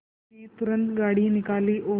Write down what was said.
उर्मी ने तुरंत गाड़ी निकाली और